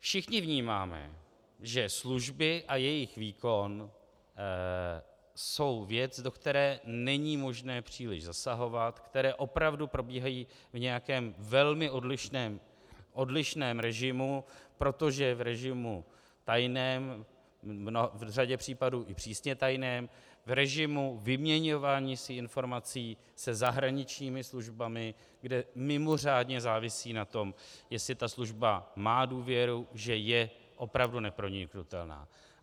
Všichni vnímáme, že služby a jejich výkon jsou věc, do které není možné příliš zasahovat, které opravdu probíhají v nějakém velmi odlišném režimu, protože v režimu tajném, v řadě případů i přísně tajném, v režimu vyměňování si informací se zahraničními službami, kde mimořádně závisí na tom, jestli ta služba má důvěru, že je opravdu neproniknutelná.